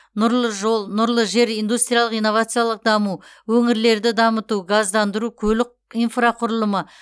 нұрлы жол нұрлы жер индустриялық инновациялық даму өңірлерді дамыту газдандыру көлік инфрақұрылымы